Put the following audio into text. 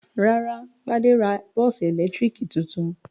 Rárá, Gbade ra bọ́ọ́sì ẹ̀lẹ́tíríkì tuntun.